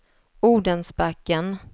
Odensbacken